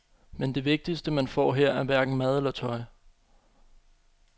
Men det vigtigste, man får her, er hverken mad eller tøj.